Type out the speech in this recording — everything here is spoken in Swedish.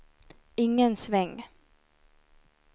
ingen sväng